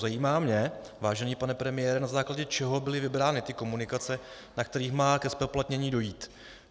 Zajímá mě, vážený pane premiére, na základě čeho byly vybrány ty komunikace, na kterých má ke zpoplatnění dojít.